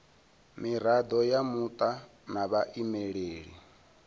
mirado ya muta na vhaimeleli